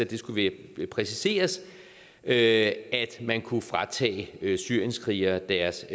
det skulle præciseres at man kunne fratage syrienskrigere deres